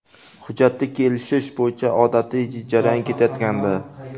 Hujjatni kelishish bo‘yicha odatiy jarayon ketayotgandi.